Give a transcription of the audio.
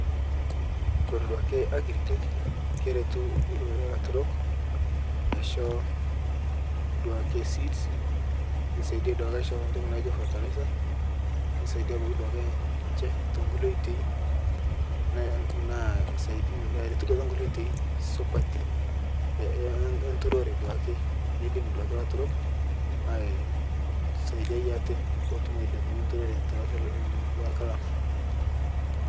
Ore duake agrigate naa keretu elaturok asisho seeds nisaidia aisho entoki naijio fertilizer nisaidia ninche tekulie oitoi naa siatin too nkulie oitoi supati enturore naidim aitodua elaturok aisaidia atee petum ailepunye enturore tolosho lang